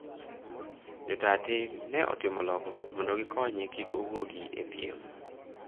jo taa tim ne otimo lokruok mondo gikonye kik owuoge epiem